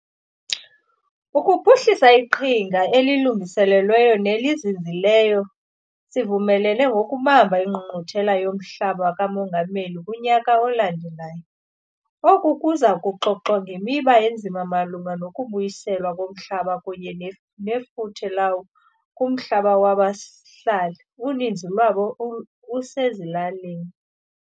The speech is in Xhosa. Ukuphuhlisa iqhinga elilungelelanisiweyo nelizinzileyo, sivumelene ngoku bamba iNgqungquthela yoMhlaba kaMongameli kunyaka olandelayo. Oku kuza kuxoxwa ngemiba enzima malunga nokubuyiselwa komhlaba kunye nefuthe lawo kumhlaba wabahlali, uninzi lwawo usezilalini.